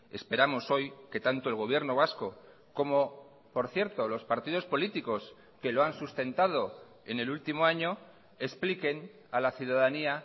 esperamos hoy que tanto el gobierno vasco como por cierto los partidos políticos que lo han sustentado en el último año expliquen a la ciudadanía